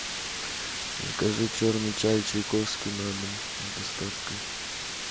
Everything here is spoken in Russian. закажи черный чай чайковский на дом с доставкой